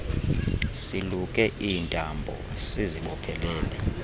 siluke iintambo siziboophelele